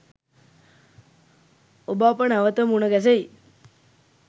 ඔබ අප නැවත මුණ ගැසෙයි